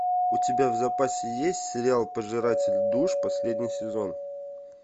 у тебя в запасе есть сериал пожиратель душ последний сезон